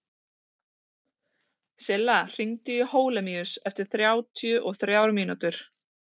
Silla, hringdu í Holemíus eftir þrjátíu og þrjár mínútur.